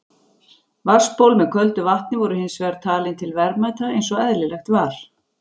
Vatnsból með köldu vatni voru hins vegar talin til verðmæta eins og eðlilegt var.